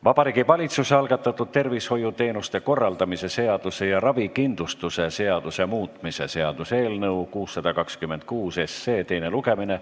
Vabariigi Valitsuse algatatud tervishoiuteenuste korraldamise seaduse ja ravikindlustuse seaduse muutmise seaduse eelnõu 626 teine lugemine.